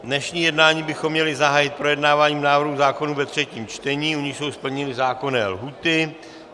Dnešní jednání bychom měli zahájit projednáváním návrhů zákonů ve třetím čtení, u nichž jsou splněny zákonné lhůty.